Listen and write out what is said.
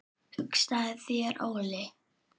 Hugsaðu þér Óli!